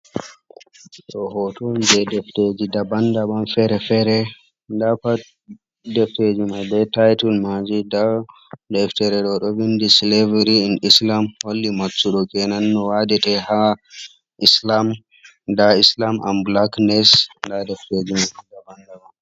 Ɗo hoto on je defteji daban - daban fere-fere dapat deftejimai be titul maji deftereji, ɗo ɗo vindi sileviry in islam holli maccuɗo kenan no wadete ha islam, da islam and bulak nes da defteji daban daban.